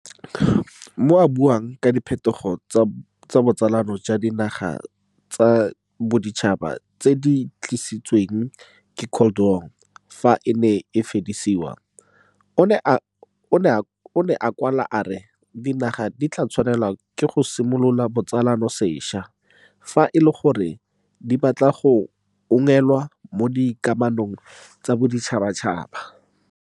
Mo a buang ka diphetogo tsa botsalano jwa dinaga tsa boditšhaba tse di tlisitsweng ke Cold War fa e ne e fedisiwa, o ne a kwala a re dinaga di tla tshwanelwa ke go simolola botsalano sešwa fa e le gore di batla go unngwelwa mo dikamanong tsa boditšhabatšhaba.